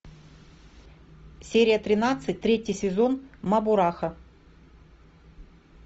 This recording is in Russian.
серия тринадцать третий сезон мабурахо